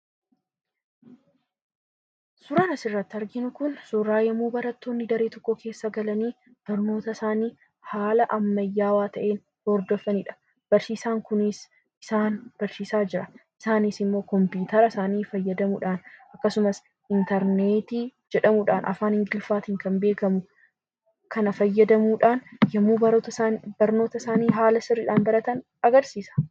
Suuraan asirratti arginu kun suuraa yommuu barattoonni daree tokko keessa galanii barnootasaanii haala ammayyaawaa ta'een hordofanidha. Barsiisaan kunis isaan barsiisaa jira. Isaanis immoo kompiitara isaanii fayyadamuudhaan akkasumas intarneetii jedhamuudhaan afaan ingiliffaatiin kan beekamu kana fayyadamuudhaan yommuu barnoota isaanii haala sirriidhaan baratan agarsiisa.